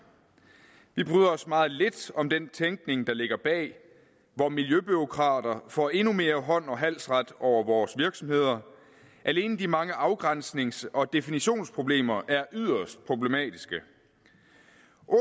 vi bryder os meget lidt om den tænkning der ligger bag hvor miljøbureaukrater får endnu mere hånds og halsret over vores virksomheder alene de mange afgrænsnings og definitionsproblemer er yderst problematiske